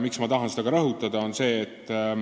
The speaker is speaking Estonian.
Miks ma tahan seda rõhutada?